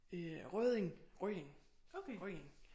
Øh Rødding Rødding Rødding